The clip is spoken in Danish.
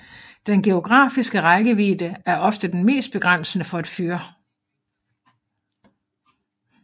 Den geografiske rækkevidde er ofte den mest begrænsende for et fyr